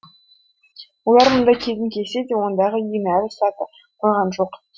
олар мұнда келуін келсе де ондағы үйін әлі сата қойған жоқ